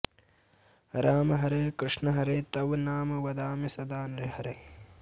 राम हरे कृष्ण हरे तव नाम वदामि सदा नृहरे